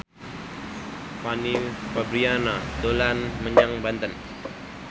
Fanny Fabriana dolan menyang Banten